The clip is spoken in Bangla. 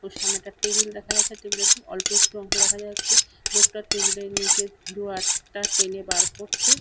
তো সামনে একটা টেবিল দেখা যাচ্ছে টেবিল এর অল্প একটু অংশ দেখা যাচ্ছে। লোকটা টেবিল এর নীচের ডরার টা টেনে বার করছে।